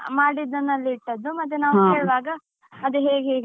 ಮಾಡಿದ್ದನ್ನು ಅಲ್ಲೇ ಇಟ್ಟದ್ದು ಮತ್ತೆ ನಾವು ಕೇಳುವಾಗ ಅದೇ ಹೇಗೆ ಹೇಗೆ.